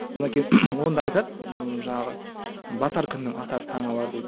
онда айтады ммм жаңағы батар күннің атар таңы бар дейді